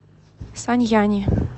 саньяни